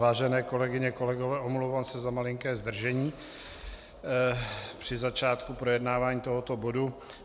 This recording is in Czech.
Vážené kolegyně, kolegové, omlouvám se za malinké zdržení při začátku projednávání tohoto bodu.